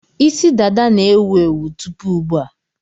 Isi dada na-ewu ewu tupu ugbu a.